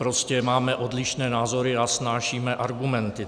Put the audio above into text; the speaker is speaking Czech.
Prostě máme odlišné názory a vznášíme argumenty.